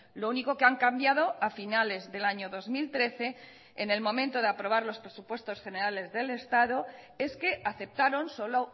lo único que han cambiado a finales del año dos mil trece en el momento de aprobar los presupuestos generales del estado es que aceptaron solo